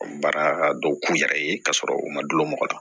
Baara dɔw k'u yɛrɛ ye k'a sɔrɔ u ma du mɔgɔ la